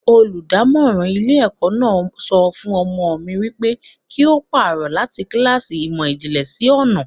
Olùdámọ́ràn ilé ẹ̀kọ́ náà sọ fún ọmọ mi wípé kí ó pàrọ̀ láti kíláàsì ìmò ìjìnlẹ̀ sí ọnà.